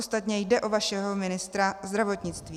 Ostatně jde o vašeho ministra zdravotnictví.